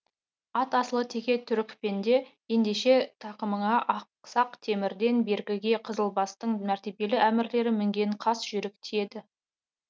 ат асылы теке түрікпенде ендеше тақымыңа ақсақ темірден бергіде қызылбастың мәртебелі әмірлері мінген қас жүйрік тиеді